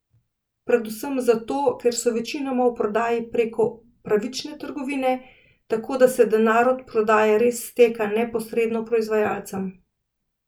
Predvsem zato, ker so večinoma v prodaji preko pravične trgovine, tako da se denar od prodaje res steka neposredno proizvajalcem.